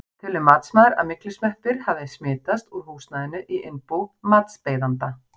Telur matsmaður að myglusveppir hafi smitast úr húsnæðinu í innbú matsbeiðanda?